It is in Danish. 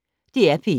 DR P1